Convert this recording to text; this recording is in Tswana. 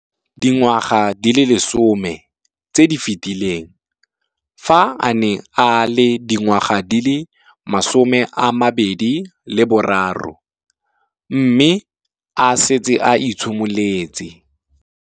Dingwaga di le 10 tse di fetileng, fa a ne a le dingwaga di le 23 mme a setse a itshimoletse.